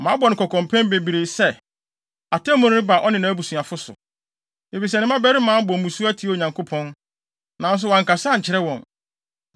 Mabɔ no kɔkɔ mpɛn bebree sɛ, atemmu reba ɔne nʼabusuafo so, efisɛ ne mmabarima abɔ mmusu atia Onyankopɔn, nanso wankasa ankyerɛ wɔn.